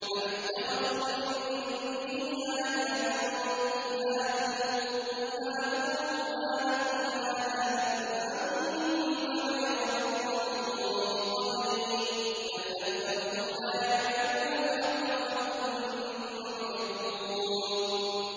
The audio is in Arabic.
أَمِ اتَّخَذُوا مِن دُونِهِ آلِهَةً ۖ قُلْ هَاتُوا بُرْهَانَكُمْ ۖ هَٰذَا ذِكْرُ مَن مَّعِيَ وَذِكْرُ مَن قَبْلِي ۗ بَلْ أَكْثَرُهُمْ لَا يَعْلَمُونَ الْحَقَّ ۖ فَهُم مُّعْرِضُونَ